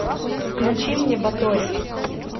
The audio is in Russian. включи мне батори